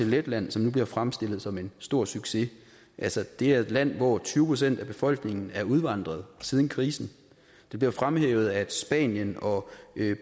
letland som nu bliver fremstillet som en stor succes altså det er et land hvor tyve procent af befolkningen er udvandret siden krisen det blev fremhævet at spanien og